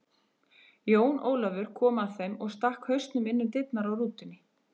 Jón Ólafur kom að þeim og stakk hausnum inn um dyrnar á rútunni.